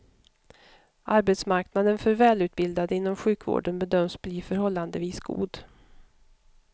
Arbetsmarknaden för välutbildade inom sjukvården bedöms bli förhållandevis god.